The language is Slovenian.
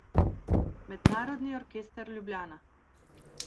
Mednarodni orkester Ljubljana.